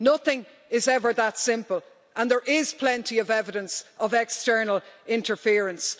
Nothing is ever that simple and there is plenty of evidence of external interference.